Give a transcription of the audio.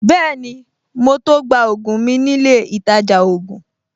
Bẹ́ẹ̀ni, mo to gba ògùn mi nílé ìtajà ògùn